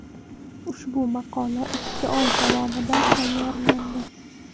Ushbu maqola ikki oy davomida tayyorlandi.